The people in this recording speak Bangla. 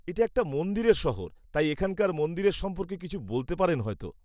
-এটা একটা মন্দিরের শহর তাই এখানকার মন্দিরের সম্পর্কে কিছু বলতে পারেন হয়তো।